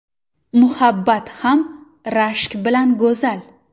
Muhabbat ham rashk bilan go‘zal.